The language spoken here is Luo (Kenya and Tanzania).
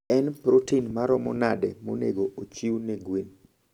En protin maromo nade monego ochiw ne gwen?